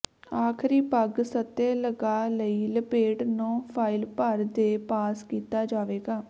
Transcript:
ਆਖਰੀ ਪਗ ਸਤਹ ਲਗਾ ਲਈ ਪਲੇਟ ਨਹੁੰ ਫਾਇਲ ਭਰ ਦੇ ਪਾਸ ਕੀਤਾ ਜਾਵੇਗਾ